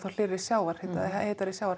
hlýnandi sjávarhita svo hiti sjávar